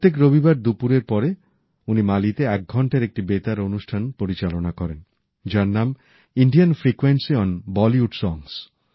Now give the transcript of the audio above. প্রত্যেক রবিবার দুপুরের পরে উনি মালিতে এক ঘন্টার একটি বেতার অনুষ্ঠান পরিচালনা করেন যার নাম Indian frequency on Bollywood songs